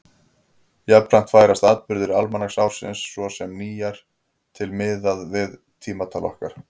Jafnframt færast atburðir almanaksársins, svo sem nýár, til miðað við tímatal okkar.